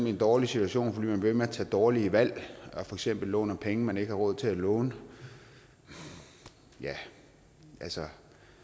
i en dårlig situation fordi man bliver ved med at tage dårlige valg og for eksempel låner penge man ikke har råd til at låne ja altså